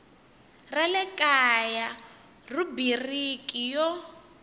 ra le kaya rhubiriki yo